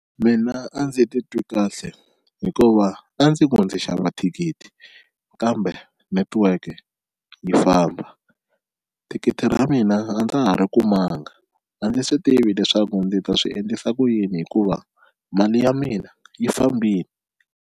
Mina a ndzi titwi kahle hikuva a ndzi ku ndzi xava thikithi kambe network yi famba thikithi ra mina a ndza ha ri kumanga a ndzi swi tivi leswaku ndzi ta swi endlisa ku yini hikuva mali ya mina yi fambile.